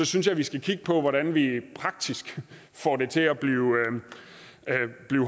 synes jeg vi skal kigge på hvordan vi praktisk får det til at blive